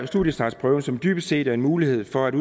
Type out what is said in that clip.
studiestartsprøven som dybest set er en mulighed for at